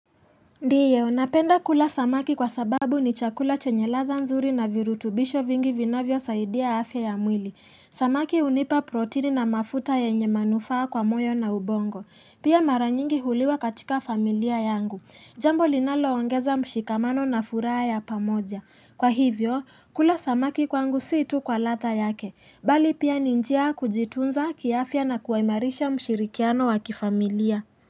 Ndiyo, napenda kula samaki kwa sababu ni chakula chenye ladha nzuri na virutubisho vingi vinavyosaidia afya ya mwili. Samaki hunipa protini na mafuta yenye manufaa kwa moyo na ubongo. Pia mara nyingi huliwa katika familia yangu. Jambo linaloongeza mshikamano na furaha ya pamoja. Kwa hivyo, kula samaki kwangu si tu kwa ladha yake. Bali pia ni njia ya kujitunza kiafya na kuimarisha mshirikiano wa kifamilia.